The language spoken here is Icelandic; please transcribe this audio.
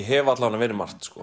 hef alla vega verið margt